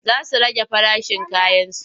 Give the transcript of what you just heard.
Za su rage farashin kayansu.